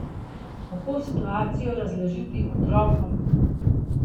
Kako situacijo razložiti otrokom?